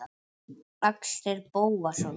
Axel Bóasson